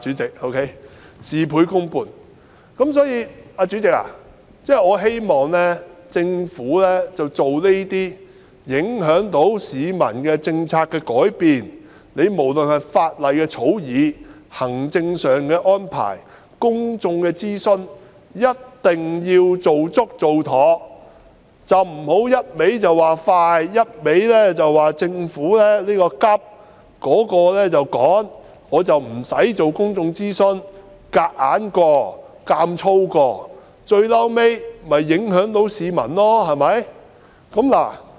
因此，代理主席，我希望政府要改變這些影響市民的政策時，無論是法例的草擬、行政安排或公眾諮詢，一定要做足做妥，不要只管快、只說要趕急做而不進行公眾諮詢，強硬地通過，最終只會影響市民。